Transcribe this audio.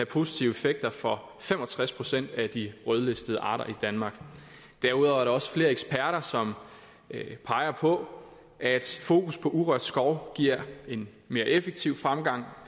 positive effekter for fem og tres procent af de rødlistede arter i danmark derudover er der også flere eksperter som peger på at fokus på urørt skov giver en mere effektiv fremgang